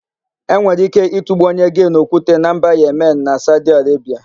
E nwere íké ịtụgbu onye gee n'okwute na mba Yemeni na Saudi Arebia.